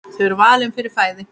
Þau eru valin fyrir svæðið.